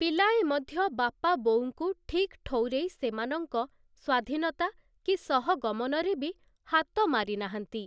ପିଲାଏ ମଧ୍ୟ ବାପା ବୋଉଙ୍କୁ ଠିକ୍ ଠଉରେଇ ସେମାନଙ୍କ ସ୍ୱାଧୀନତା କି ସହଗମନରେ ବି ହାତ ମାରି ନାହାନ୍ତି ।